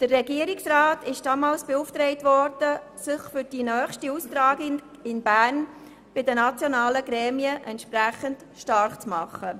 Der Regierungsrat wurde damals beauftragt, sich für die nächste Austragung in Bern bei den nationalen Gremien entsprechend stark zu machen.